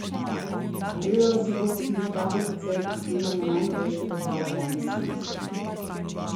Ogledala si bosta tudi kratek odsek iz snemanja najnovejšega dela Vojne zvezd.